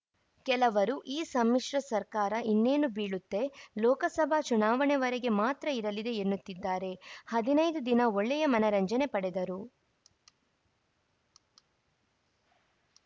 ಕೆಲವರು ಈ ಸಮ್ಮಿಶ್ರ ಸರ್ಕಾರ ಇನ್ನೇನು ಬೀಳುತ್ತೆ ಲೋಕಸಭಾ ಚುನಾವಣೆವರೆಗೆ ಮಾತ್ರ ಇರಲಿದೆ ಎನ್ನುತ್ತಿದ್ದಾರೆ ಹದಿನೈದು ದಿನ ಒಳ್ಳೆಯ ಮನರಂಜನೆ ಪಡೆದರು